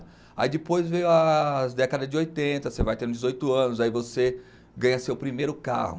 Aí depois veio as décadas de oitenta, você vai tendo dezoito anos, aí você ganha seu primeiro carro.